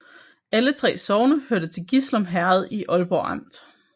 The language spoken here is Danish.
Alle 3 sogne hørte til Gislum Herred i Aalborg Amt